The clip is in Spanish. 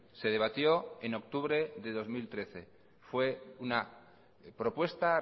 se debatió en octubre de dos mil trece fue una propuesta